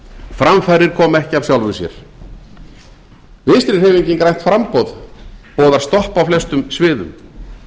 framfarir koma ekki af sjálfu sér vinstri hreyfingin grænt framboð boðar stopp á flestum sviðum